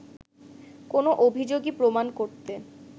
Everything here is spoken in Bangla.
কোনো অভিযোগই প্রমাণ করতে